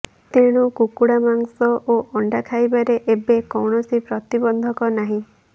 ତେଣୁ କୁକୁଡା ମାଂସ ଓ ଅଣ୍ଡା ଖାଇବାରେ ଏବେ କୌଣସି ପ୍ରତିବନ୍ଧକ ନାହିଁ